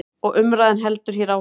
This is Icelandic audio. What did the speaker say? Og umræðan heldur hér áfram.